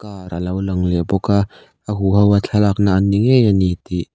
car a lo lang leh bawk a a hu hoa thlalakna an ni ngei ani tih